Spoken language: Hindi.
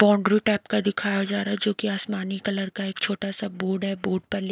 बाउंड्री टाइप का दिखाया जा रा हैं जो कि आसमानी कलर का एक छोटा सा बोर्ड है बोर्ड पर लिक--